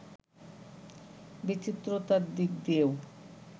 বিচিত্রতার দিক দিয়েও